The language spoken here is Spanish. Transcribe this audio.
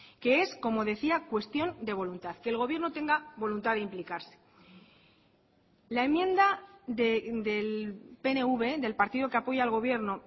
que es como decía cuestión de voluntad que el gobierno tenga voluntad de implicarse la enmienda del pnv del partido que apoya al gobierno